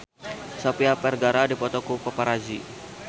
Sofia Vergara dipoto ku paparazi